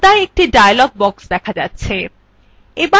পর্দায় একটি dialog box দেখা যাচ্ছে